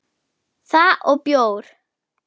Það og bjór.